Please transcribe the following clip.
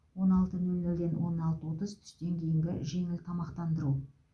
он алты нөл нөлден он алты отыз түстен кейінгі жеңіл тамақтандыру